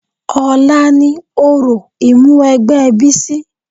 Ọ̀la ni òrò Ìmúwẹgbẹ́ Bísí